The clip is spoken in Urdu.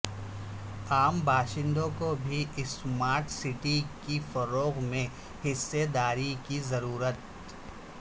عام باشندوں کو بھی اسمارٹ سٹی کے فروغ میں حصہ داری کی ضرورت